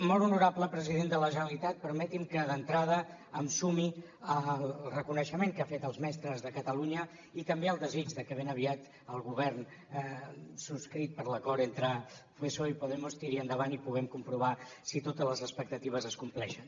molt honorable president de la generalitat permeti’m que d’entrada em sumi al reconeixement que ha fet als mestres de catalunya i també al desig de que ben aviat el govern subscrit per l’acord entre psoe i podemos tiri endavant i puguem comprovar si totes les expectatives es compleixen